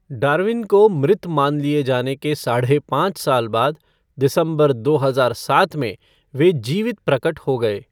Darwin को मृत मान लिए जाने के साढ़े पांच साल बाद, दिसंबर दो हजार सात में वे जीवित प्रकट हो गए।